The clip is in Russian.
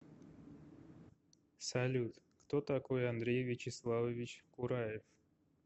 салют кто такой андрей вячеславович кураев